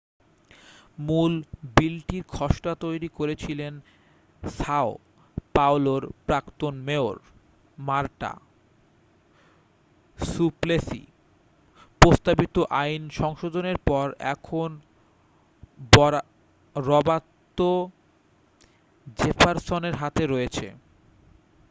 মূল বিলটির খসড়া তৈরি করেছিলেন সাও পাওলোর প্রাক্তন মেয়র মারটা সুপ্লেসি প্রস্তাবিত আইন সংশোধনের পর এখন রবার্তো জেফার্সনের হাতে রয়েছে